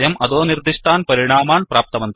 वयं अधोनिर्दिष्टान् परिणामान् प्राप्तवन्तः